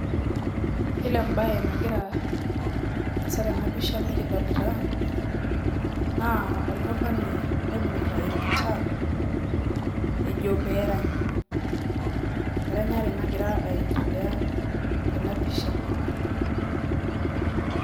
Yiolo ebae nagira aasa tenapisha nikidolita, naa olmurrani oibung'ita egita ejo perany. Eranyare nagira aendelea tenapisha.